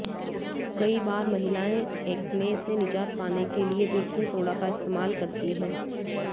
कई बार महिलाएं एक्ने से निजात पाने के लिए बेकिंग सोडा का इस्तेमाल करती हैं